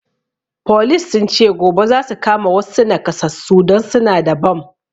Folis sun ce gobe zasu kama wassu nakasassu don suna da bam